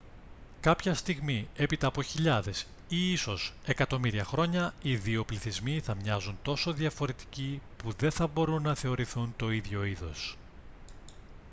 κάποια στιγμή έπειτα από χιλιάδες ή ίσως εκατομμύρια χρόνια οι δύο πληθυσμοί θα μοιάζουν τόσο διαφορετικοί που δεν θα μπορούν να θεωρηθούν το ίδιο είδος